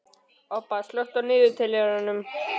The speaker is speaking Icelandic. Obba, slökktu á niðurteljaranum.